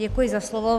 Děkuji za slovo.